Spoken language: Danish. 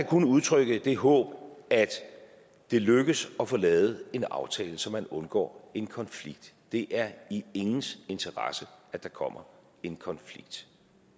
kun udtrykke det håb at det lykkes at få lavet en aftale så man undgår en konflikt det er i ingens interesse at der kommer en konflikt